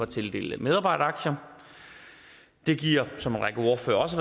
tildele medarbejderaktier det giver som en række ordførere også